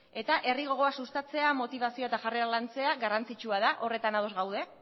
eta herri gogoa sustatzea motibazioa eta jarrera lantzea garrantzitsua da horretan ados gaude